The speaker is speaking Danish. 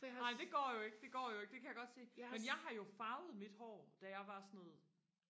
nej det går jo ikke det går jo ikke det kan jeg godt se men jeg har jo farvet mit hår da jeg var sådan noget